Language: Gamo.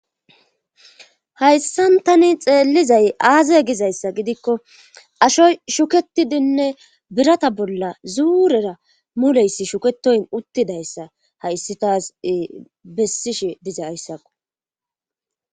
hayssan tani xeellizay aazay gizayssa gidikko ashoy shuketidinne birata bolla zuurera muleyss shuketoyn uttidayssa hayssi taas bessishe diza ayssako